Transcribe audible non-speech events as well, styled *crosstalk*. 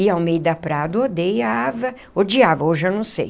E Almeida Prado, *unintelligible* odiava, hoje eu não sei.